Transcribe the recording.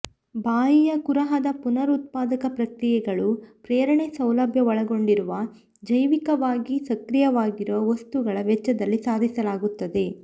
ಬಾಯಿಯ ಕುಹರದ ಪುನರುತ್ಪಾದಕ ಪ್ರಕ್ರಿಯೆಗಳು ಪ್ರೇರಣೆ ಸೌಲಭ್ಯ ಒಳಗೊಂಡಿರುವ ಜೈವಿಕವಾಗಿ ಸಕ್ರಿಯವಾಗಿರುವ ವಸ್ತುಗಳ ವೆಚ್ಚದಲ್ಲಿ ಸಾಧಿಸಲಾಗುತ್ತದೆ